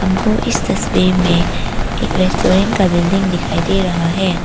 हमको इस तस्वीर में एक रेस्टोरेंट का बिल्डिंग दिखाई दे रहा है।